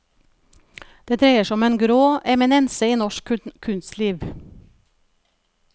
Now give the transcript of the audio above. Det dreier seg om en grå eminense i norsk kunstliv.